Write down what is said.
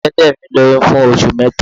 Ẹlẹ́dẹ̀ mi lóyún fún oṣù mẹ́ta.